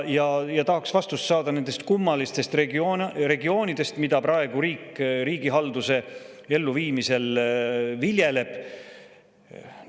Tahaksin vastust saada nende kummaliste regioonide kohta, mida praegu riik riigihalduse elluviimisel viljeleb.